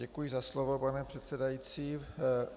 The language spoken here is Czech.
Děkuji za slovo, pane předsedající.